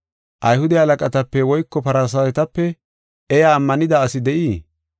Ayhude halaqatape woyko Farsaawetepe iya ammanida asi de7ii?